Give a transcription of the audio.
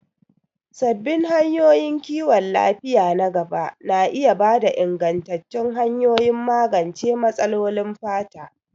Sabbin hanyoyin kiwon lafiya na gaba na iya ba da ingantattun hanyoyin magance matsalolin fata.